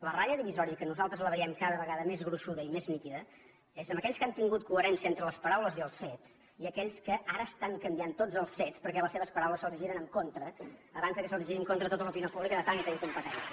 la ratlla divisòria que nosaltres la veiem cada vegada més gruixuda i més nítida és entre aquells que han tingut coherència entre les paraules i els fets i aquells que ara estan canviant tots els fets perquè les seves paraules se’ls giren en contra abans que se’ls giri en contra tota l’opinió pública de tanta incompetència